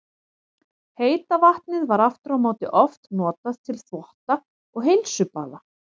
Heita vatnið var aftur á móti oft notað til þvotta og heilsubaða.